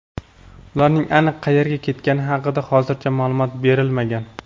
Ularning aniq qayerga ketgani haqida hozircha ma’lumot berilmagan.